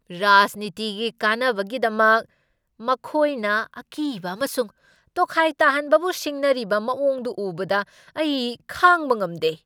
ꯔꯥꯖꯅꯤꯇꯤꯒꯤ ꯀꯥꯟꯅꯕꯒꯤꯗꯃꯛ ꯃꯈꯣꯏꯅ ꯑꯀꯤꯕ ꯑꯃꯁꯨꯡ ꯇꯣꯈꯥꯏ ꯇꯥꯍꯟꯕꯕꯨ ꯁꯤꯖꯤꯟꯅꯔꯤꯕ ꯃꯑꯣꯡꯗꯨ ꯎꯕꯗ ꯑꯩ ꯈꯥꯡꯕ ꯉꯝꯗꯦ꯫